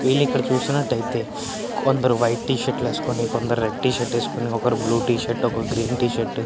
వీళ్లు ఇక్కడ చూసినట్టయితే కొందరు వైట్ టి షర్ట్ వేసుకుని కొందరు రెడ్ టి షర్టు వేసుకొని ఒకరు బ్లూ టి షర్టు ఒకరు గ్రీన్ టీ షర్టు --